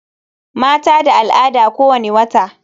Mata da al'ada kowani wata.